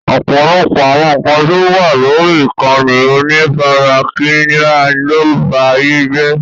Ọ̀pọ̀lọpọ̀ àwọn ǹkan tó wà lórí ìkànnì onífarakínra ló ń ba ayé jé.